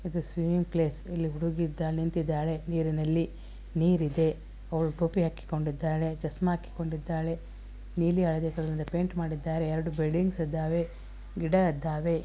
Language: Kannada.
ಇದು ಸ್ವೀಮ್ಮಿಮ್ಗ್ ಪ್ಲೇಸ್ . ಇಲ್ಲಿ ಹುಡುಗಿ ಇದ್ದ ನಿಂತ್ತಿದಾಳೆ ನೀರಿನಲ್ಲಿ. ನೀರಿದೆ ಅವಳು ಟೋಪಿ ಹಾಕಿಕೊಂಡಿದಾಳೆ ಚಸ್ಮಾ ಹಾಕಿಕೊಂಡಿದಾಳೆ ನೀಲಿ ಹಳದಿ ಕಲರ್ ಪೈಂಟ್ ಮಾಡಿದ್ದಾರೆ. ಎರಡು ಬಿಲ್ಡಿಂಗ್ಸ್ ಇದ್ದಾವೆ ಗಿಡ ಇದ್ದಾವೆ.